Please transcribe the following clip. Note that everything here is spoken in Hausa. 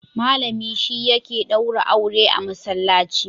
Malami shi yake daura aure a Masallaci.